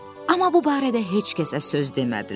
Amma bu barədə heç kəsə söz demədilər.